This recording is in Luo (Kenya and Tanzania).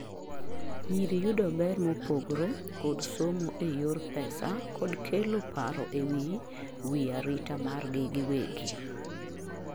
nyiri yudo ber mopogore kod somo e yor pesa kod kelo paro ewi wi arita mar gi giwegi